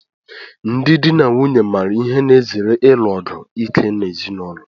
Ndị di na nwunye maara ihe na-ezere ilu ọgụ ike n'ezinụlọ.